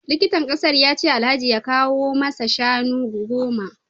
Likitan kasar ya ce Alhaji ya kawo masa shanu goma